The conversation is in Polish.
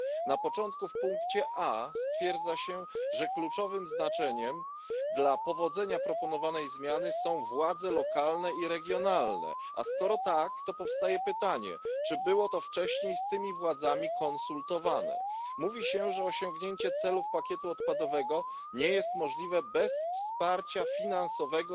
Na początku, w motywie A stwierdza się, że kluczowe znaczenie dla powodzenia proponowanej zmiany mają władze lokalne i regionalne. A skoro tak, to powstaje pytanie, czy było to wcześniej z tymi władzami konsultowane? Mówi się, że osiągnięcie celów pakietu odpadowego nie jest możliwe bez wsparcia finansowego